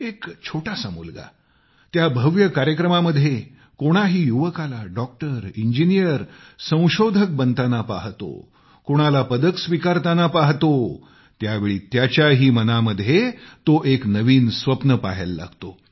एक छोटासा मुलगा त्या भव्य कार्यक्रमामध्ये कोणाही युवकाला डॉक्टर इंजिनीअर संशोधक बनताना पाहतो कोणाला पदक स्वीकारताना पाहतो त्यावेळी त्याच्याही मनामध्ये तो एक नवीन स्वप्न पहायला लागतो